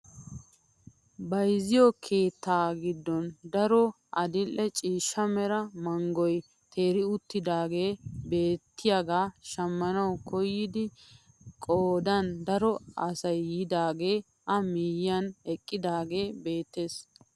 Bayzziyoo keettaa giddon daro adil'e ciishsha mera manggoy teeri uttidagee beettiyaaga shammana koyida qoodan daro asayyiidagee a miyiyaan eqqidaagee beettees.